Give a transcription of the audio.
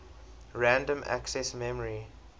random access memory